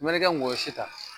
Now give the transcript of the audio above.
U mɛ nɛ kɛ ngɔyɔ si ta